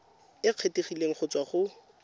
e kgethegileng go tswa go